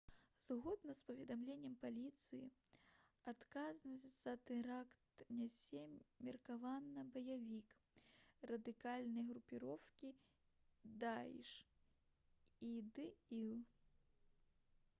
згодна з паведамленнем паліцыі адказнасць за тэракт нясе меркаваны баявік радыкальнай групоўкі даіш іділ